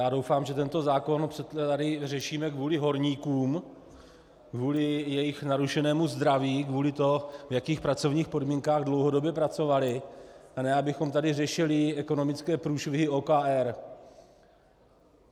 Já doufám, že tento zákon tady řešíme kvůli horníkům, kvůli jejich narušenému zdraví, kvůli tomu, v jakých pracovních podmínkách dlouhodobě pracovali, a ne abychom tady řešili ekonomické průšvihy OKD.